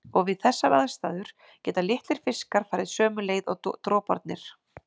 Og við þessar aðstæður geta litlir fiskar farið sömu leið og droparnir.